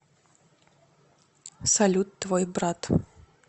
салют твой брат